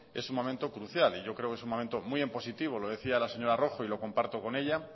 es un momento crucial y yo creo que es un momento muy impositivo lo decía la señora rojo y lo comparto con ella